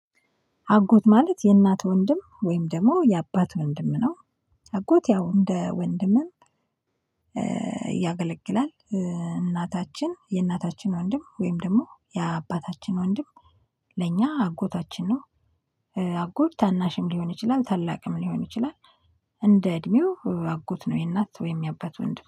አጎት ማለት የእናት ወንድም ወይም ደሞ የአባት ወንድም ነው። አጎት ያው እንደ ወንድምም ያገለግላል እናታችን የእናታችን ወንድም ወይም ደሞ የአባታችን ወንድም። ለእኛ አጎታችን ነው። አጎት ታናሽም ሊሆን ይችላል ታላቅም ሊሆን ይችላል። እንደ እድሜው አጎት ነው የእናት ወይም የአባት ወንድም